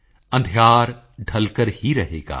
ਅੰਧਿਯਾਰ ਢਲਕਰ ਹੀ ਰਹੇਗਾ